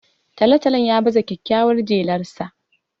Talo-talon ya baza kyakkyawar jelarsa